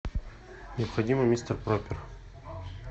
необходимо мистер пропер